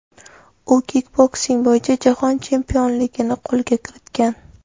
U kikboksing bo‘yicha jahon chempionligini qo‘lga kiritgan.